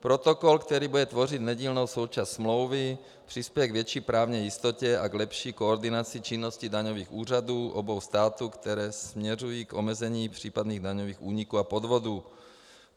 Protokol, který bude tvořit nedílnou součást smlouvy, přispěje k větší právní jistotě a k lepší koordinaci činnosti daňových úřadů obou států, které směřují k omezení případných daňových úniků a podvodů.